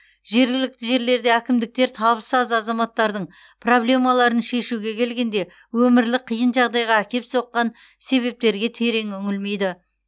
жергілікті жерлерде әкімдіктер табысы аз азаматтардың проблемаларын шешуге келгенде өмірлік қиын жағдайға әкеп соққан себептерге терең үңілмейді